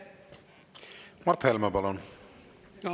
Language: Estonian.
Mart Helme, palun!